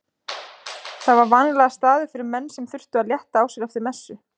Það var vanalegur staður fyrir menn sem þurftu að létta á sér eftir messu.